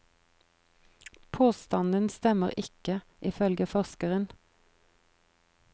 Påstanden stemmer ikke, ifølge forskeren.